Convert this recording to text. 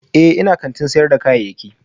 Ee, ina kantin sayar da kayayyaki